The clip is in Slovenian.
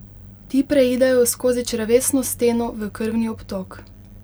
Ti preidejo skozi črevesno steno v krvni obtok.